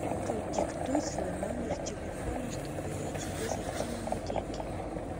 продиктуй свой номер телефона чтобы я тебе закинула деньги